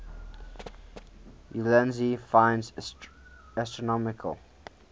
ulansey finds astronomical